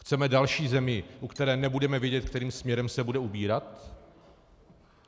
Chceme další zemi, u které nebudeme vědět, kterým směrem se bude ubírat?